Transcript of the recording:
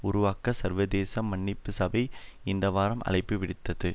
உருவாக்க சர்வதேச மன்னிப்பு சபை இந்தவாரம் அழைப்பு விடுத்தது